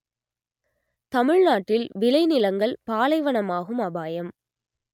தமிழ்நாட்டில் விளைநிலங்கள் பாலைவனமாகும் அபாயம்